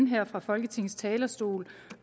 høre fra folketingets talerstol